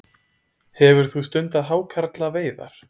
Hefur þú stundað hákarlaveiðar?